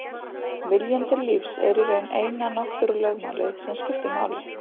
Viljinn til lífs er í raun eina náttúrulögmálið sem skiptir máli.